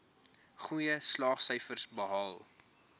goeie slaagsyfers behaal